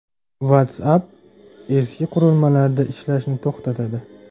WhatsApp eski qurilmalarda ishlashni to‘xtatadi.